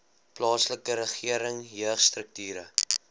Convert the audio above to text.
plaaslike regering jeugstrukture